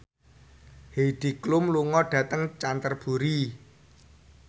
Heidi Klum lunga dhateng Canterbury